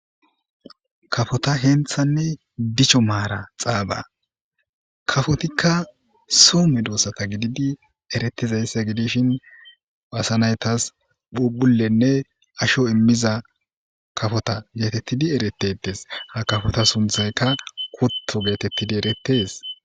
kafota henthanne dicho maara xaaba kafotikka soo medoossata gididi eretizayssa gidishin baasanaytas phubulenne asho immiza kafota geetettidi erettedes ha kafota sunthaykka kutto geetettidi eretees